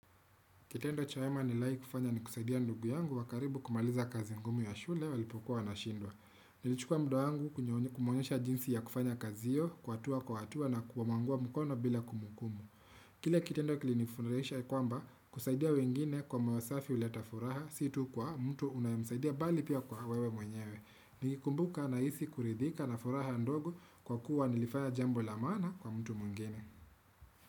Kitendo cha wema nilai kufanya ni kusaidia ndugu yangu wa karibu kumaliza kazi ngumu ya shule walipokuwa na shindwa. Nilichukua muda wangu kumwonyesha jinsi ya kufanya kazi hiyo, kuatua kuatua na kuwamangua mkono bila kumukumu. Kile kitendo kili nifuraisha ya kwamba kusaidia wengine kwamba wasafi uleta furaha si tu kwa mtu unayomsaidia bali pia kwa wewe mwenyewe. Nikikumbuka nahisi kuridhika na furaha ndugo kwa kuwa nilifaya jambo la maana kwa mtu mwingene.